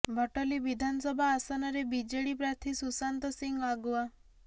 ଭଟଲୀ ବିଧାନସଭା ଆସନରେ ବିଜେଡି ପ୍ରାର୍ଥୀ ସୁଶାନ୍ତ ସିଂହ ଆଗୁଆ